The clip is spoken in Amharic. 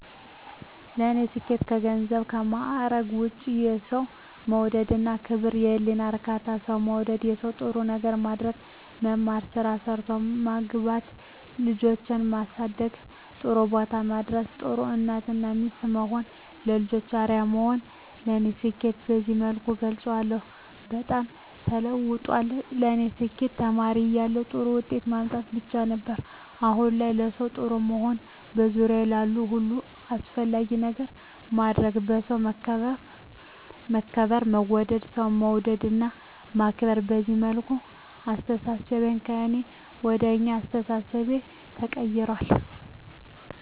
ለኔ ስኬት ከገንዘብና ከማዕረግ ውጭ የሠው መውደድ እና ክብር፤ የህሊና እርካታ፤ ሠው መውደድ፤ ለሠው ጥሩ ነገር ማድረግ፤ መማር፤ ስራ ሠርቶ መግባት፤ ልጆቼን ማሠደግ ጥሩቦታ ማድረስ፤ ጥሩ እናት እና ሚስት መሆን፤ ለልጆቼ አርያ መሆን ለኔ ስኬትን በዚህ መልኩ እገልፀዋለሁ። በጣም ተለውጧል ለኔ ስኬት ተማሪ እያለሁ ጥሩ ውጤት ማምጣት ብቻ ነበር። አሁን ላይ ለሠው ጥሩ መሆን፤ በዙሪያዬ ላሉ ሁሉ አስፈላጊ ነገር ማድረግ፤ በሠው መከበር መወደድ፤ ሠው መውደድ እና ማክበር፤ በዚህ መልኩ አስተሣሠቤ ከእኔ ወደ አኛ አስተሣሠቤ ተቀይራል።